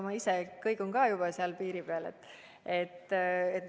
Ma ise ju kõigun ka juba seal piiri peal.